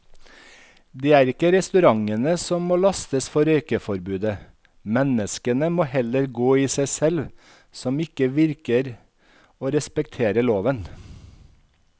Det er ikke restaurantene som må lastes for røykeforbudet, menneskene må heller gå i seg selv som ikke virker å respektere loven.